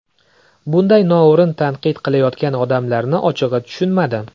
Bunday noo‘rin tanqid qilayotgan odamlarni ochig‘i tushunmadim”.